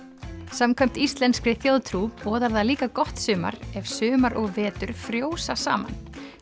samkvæmt íslenskri þjóðtrú boðar það líka gott sumar ef sumar og vetur frjósa saman